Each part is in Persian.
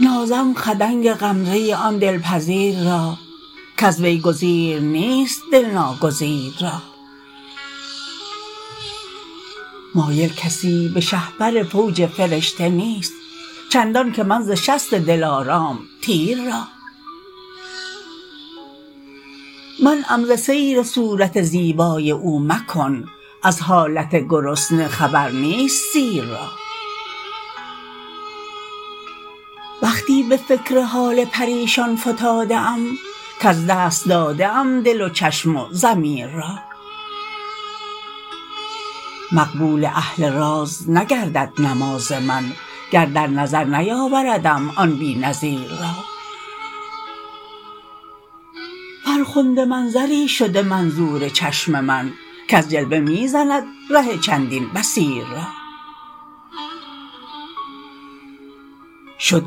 نازم خدنگ غمزه آن دل پذیر را کز وی گزیر نیست دل ناگزیر را مایل کسی به شه پر فوج فرشته نیست چندان که من ز شست دل آرام تیر را منعم ز سیر صورت زیبای او مکن از حالت گرسنه خبر نیست سیر را وقتی به فکر حال پریشان فتاده ام کز دست داده ام دل و چشم و ضمیر را مقبول اهل راز نگردد نماز من گر در نظر نیاوردم آن بی نظیر را فرخنده منظری شده منظور چشم من کز جلوه میزند ره چندین بصیر را شد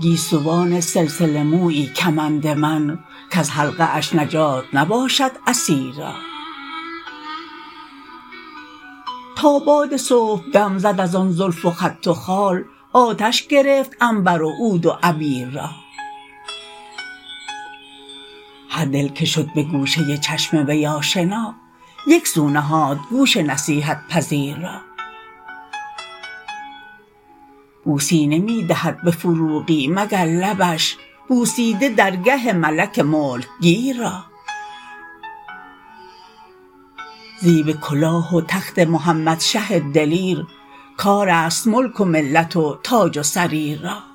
گیسوان سلسله مویی کمند من کز حلقه اش نجات نباشد اسیر را تا باد صبح دم زد از آن زلف و خط و خال آتش گرفت عنبر و عود و عبیر را هر دل که شد به گوشه چشم وی آشنا یک سو نهاد گوش نصیحت پذیر را بوسی نمی دهد به فروغی مگر لبش بوسیده درگه ملک ملک گیر را زیب کلاه و تخت محمد شه دلیر کار است ملک و ملت و تاج و سریر را